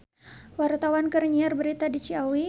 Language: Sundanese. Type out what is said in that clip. Wartawan keur nyiar berita di Ciawi